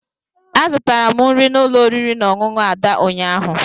Azụtara m nri n'ụlọ oriri na ọṅụṅụ Ada ụnyaahụ.